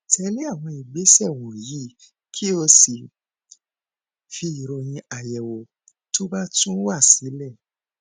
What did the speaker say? tẹlé àwọn ìgbésẹ wọnyí kí o sì fi ìròyìn àyẹwò tó bá tún wá sílẹ